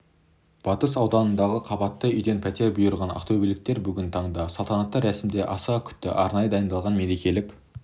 батыс ауданындағы қабатты үйден пәтер бұйырған ақтөбеліктер бүгін таңда салтанатты рәсімді асыға күтті арнайы дайындалған мерекелік